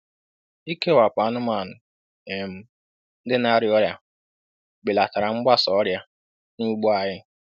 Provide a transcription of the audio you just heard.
Ikewapụ anụmanụ um ndị na-arịa ọrịa belatara mgbasa ọrịa n'ugbo anyị.